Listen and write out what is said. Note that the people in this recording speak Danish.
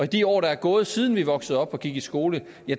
de år der er gået siden vi voksede op og gik i skole